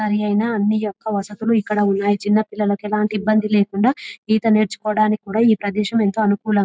సరియైన అన్ని యొక్క వసతులు ఎక్కడ ఉన్నాయి. చిన్నపిల్లలకు ఎలాంటి ఇబ్బంది లేకుండా ఈత నేర్చుకోవడానికి కూడా ఈ ప్రదేశం ఏంటో అనుకూలం --